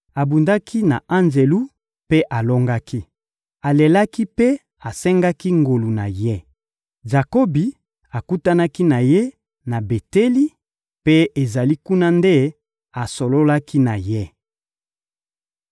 Abundaki na anjelu mpe alongaki, alelaki mpe asengaki ngolu na ye. Jakobi akutanaki na ye na Beteli, mpe ezali kuna nde asololaki na ye.